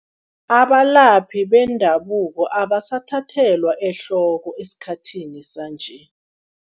Abalaphi bendabuko abasathathelwa ehloko esikhathini sanje.